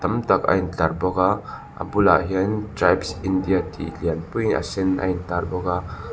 tam tak a intlar bawk a a bulah hian tribes india tih lianpuiin a sen a in tar bawk a.